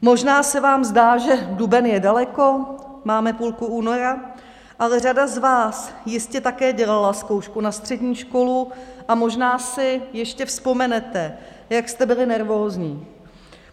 Možná se vám zdá, že duben je daleko, máme půlku února, ale řada z vás jistě také dělala zkoušku na střední školu a možná si ještě vzpomenete, jak jste byli nervózní.